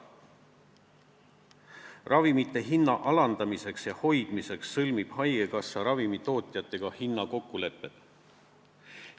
Ravimite hinna alandamiseks ja hoidmiseks sõlmib haigekassa ravimitootjatega hinnakokkulepped.